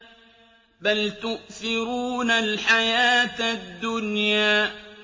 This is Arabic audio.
بَلْ تُؤْثِرُونَ الْحَيَاةَ الدُّنْيَا